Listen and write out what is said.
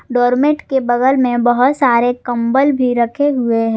Doormat के बगल में बहोत सारे कंबल भी रखे हुए हैं।